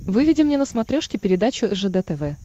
выведи мне на смотрешке передачу ржд тв